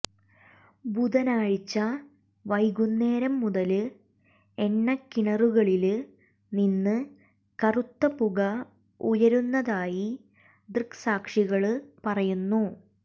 ബുധാനാഴ്ച വൈകുന്നേരം മുതല് എണ്ണക്കിണറുകളില് നിന്ന് കറുത്ത പുക ഉയരുന്നതായി ദൃക്സാക്ഷികള് പറയുന്നു